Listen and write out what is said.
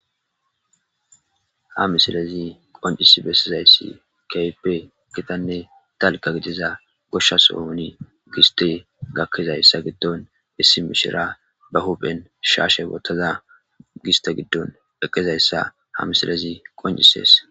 Ha miisilezi qonccisii bessizayssi kehippe giitanne dalgga giidida goshsha sohon gissetey gakidayssa giidon issi mishshiriya ba huphphen shashshe woththada gistte giidon eqqidayssa ha missilezi qonccises.